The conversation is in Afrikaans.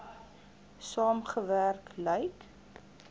saam gewerk lyk